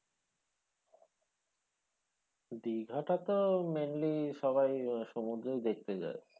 দিঘাটা তো mainly সবাই সমুদ্রই দেখতে যায়।